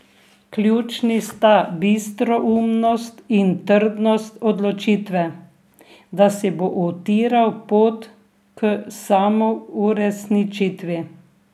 Ključni sta bistroumnost in trdnost odločitve, da si bo utiral pot k samouresničitvi.